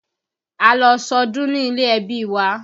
A lọ sọdún ní ilé-ẹbí wa